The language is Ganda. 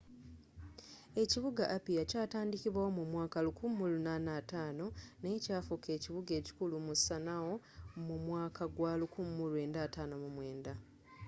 ekibuga apia kyatandikibwa mu mwaka 1850 naye kyafuka ekibuga ekikulu mu sanoa mu mwaka gwa 1959